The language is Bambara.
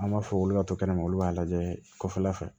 An b'a fɔ olu ka to kɛnɛma olu b'a lajɛ kɔfɛla fɛ